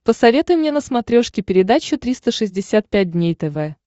посоветуй мне на смотрешке передачу триста шестьдесят пять дней тв